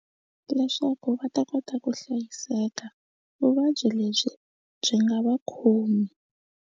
Leswaku va ta kota ku hlayiseka vuvabyi lebyi byi nga va khomi.